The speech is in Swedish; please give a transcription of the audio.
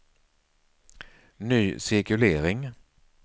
ny cirkulering